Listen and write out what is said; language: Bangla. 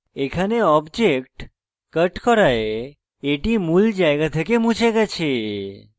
এখানে object cut করায় এটি মূল জায়গা থেকে মুছে গেছে